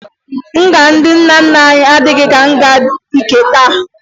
Nga ndị nna nna anyị adịghị ka nga nke taa